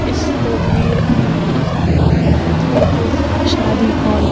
इस तस्वीर में हमें नजर आ रहा है एक शादी हॉल --